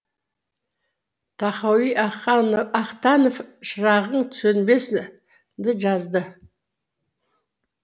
тахауи ахтанов шырағың сөнбесін деп жазды